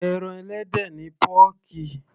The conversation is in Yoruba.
ẹran ẹlẹ́dẹ̀ ni pọ́ọ̀kì